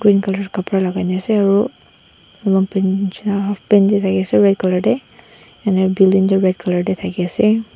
colout kapra lakai na ase aro lompan nishina half pant tae thakiase red colour tae ena building tu red colour tae thakiase.